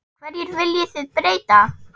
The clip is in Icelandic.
Hverju viljið þið breyta?